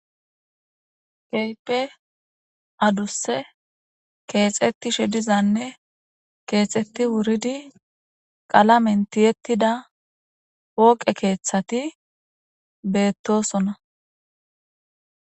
Keehippe adduse kexxetishe diizane kexxeti wuridi qaalamen tiyetida pooqe kethati bettosona.